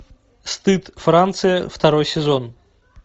стыд франция второй сезон